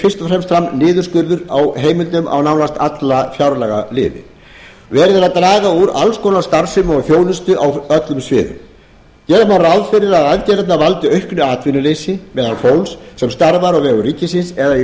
fram niðurskurður á heimildum á nánast alla fjárlagaliði verið er að draga úr alls konar starfsemi og þjónustu á öllum sviðum gera má ráð fyrir að aðgerðirnar valdi auknu atvinnuleysi meðal fólks sem starfar á vegum ríkisins eða er í